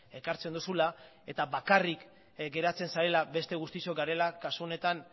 ekartzen duzula eta bakarrik geratzen zarela beste guztiok garela kasu honetan